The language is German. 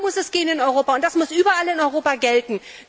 Darum muss es gehen in Europa und das muss überall in Europa gelten.